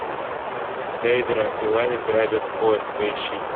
дейдра и лани грабят поезд поищи